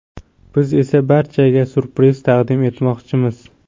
Biz esa barchaga ‘syurpriz’ taqdim etmoqchimiz.